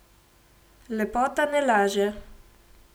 Lepota ne laže.